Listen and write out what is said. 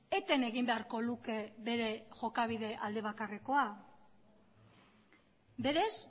eten egin beharko luke bere jokabide aldebakarrekoa berez